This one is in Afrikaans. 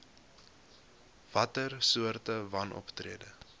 watter soorte wanoptrede